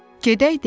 Gedək,